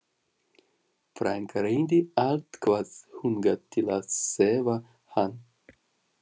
Frænka reyndi allt hvað hún gat til að sefa hann.